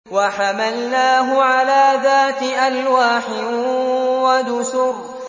وَحَمَلْنَاهُ عَلَىٰ ذَاتِ أَلْوَاحٍ وَدُسُرٍ